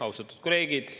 Austatud kolleegid!